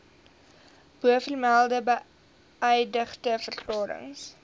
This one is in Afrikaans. bovermelde beëdigde verklarings